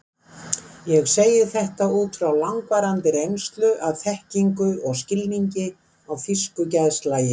Ég segi þetta út frá langvarandi reynslu, af þekkingu og skilningi á þýsku geðslagi.